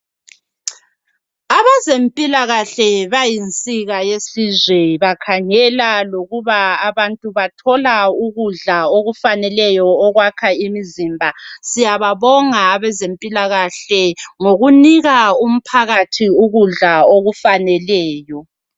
Abezempilakahle bayinsika yesizwe. Bakhangela lokuba abantu bathola ukudla, okufaneleyo, okwakha imizimbaq. Siyabbonga abezempilakahle ngokunika umphakathi ukudla okufaneleyo.